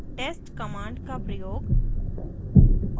* test command का प्रयोग